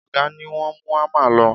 Ọ̀gá ni wọ́n mú ámà lọ